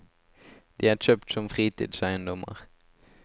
De er kjøpt som fritidseiendommer.